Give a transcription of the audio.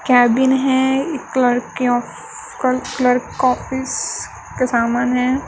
Cabin है एक लड़कियों का कलर कॉपीस के समान है।